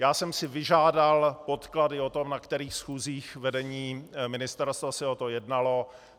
Já jsem si vyžádal podklady o tom, na kterých schůzích vedení ministerstva se o tom jednalo.